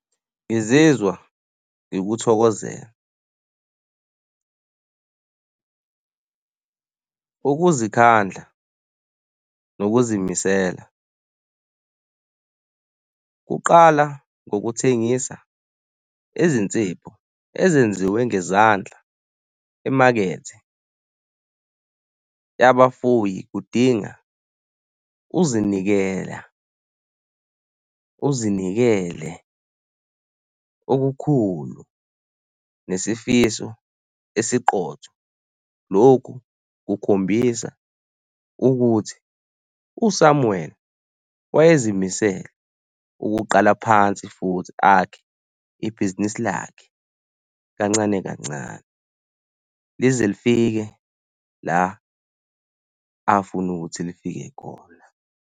Ngizizwa ngikuthokozela Ukuzikhandla nokuzimisela kuqala ngokuthengisa izinsipho ezenziwe ngezandla emakethe yabafuyi. Kudinga uzinikela, uzinikele okukhulu nesifiso esiqotho. Lokhu kukhombisa ukuthi uSamuel wayezimisele ukuqala phansi futhi akhe ibhizinisi lakhe kancane kancane lize lifike la afuna ukuthi lifike khona.